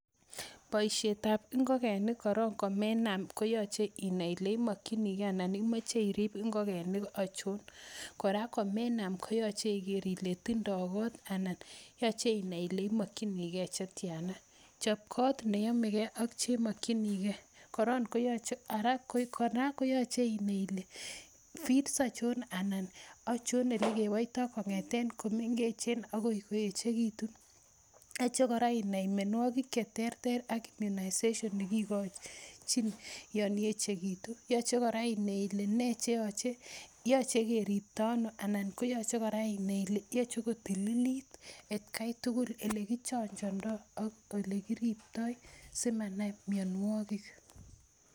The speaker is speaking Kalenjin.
Boisietab ngokenik korong' komenam koyoche inai kole imokinige ana imoche irip ngokenik achon kora komenam koyoche igere tindo kot anan yoche inai ile imokinige che tyana. Chob kot neyo mege ak chemokinige kora koyoche inai ile feeds achon anan ochon ele kiboito kong'eten komengechen agoi koechegitun yoche inai kora mianwogik che tertert ak inai ne kigochin yon ye chegitu yoche kora inai ile nee cheyoche, yoche keripta ano anan koyoche inai kora ile yoche kotililt atkai tugul, ele kichanjando ak ole kiripto simanam mianwogik.